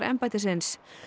embættisins